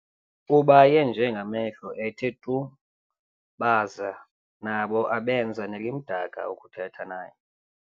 Ubaye nje ngamehlo ethe tu, baza nabo abenza nelimdaka ukuthetha naye.